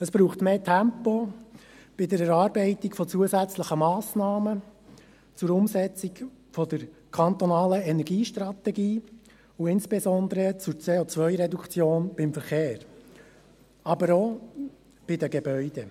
Es braucht mehr Tempo bei der Erarbeitung von zusätzlichen Massnahmen zur Umsetzung der kantonalen Energiestrategie und insbesondere zur CO-Reduktion beim Verkehr, aber auch bei den Gebäuden.